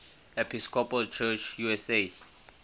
episcopal church usa